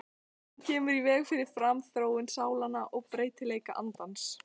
Hún kemur í veg fyrir framþróun sálnanna og breytileik andans.